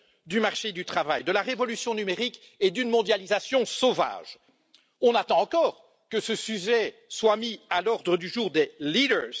du marché du travail, de la révolution numérique et d'une mondialisation sauvage. Nous attendons toujours que ce sujet soit mis à l'ordre du jour des leaders